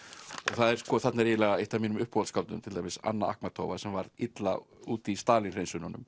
og þarna er eiginlega eitt af mínum uppáhaldsskáldum Anna sem varð illa úti í Stalín